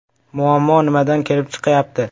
Muammo nimadan kelib chiqyapti?